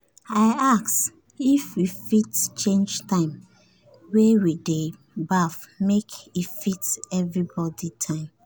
i ask if we fit change time wey we dey baff make e fit everybody time